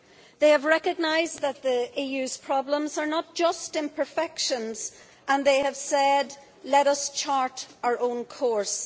They have recognised that the EU's problems are not just imperfections and they have said let us chart our own course'.